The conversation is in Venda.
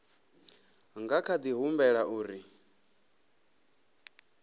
nga kha di humbela uri